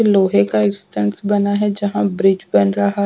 लोहे का एस्टांस बना है जहां ब्रिज बन रहा है।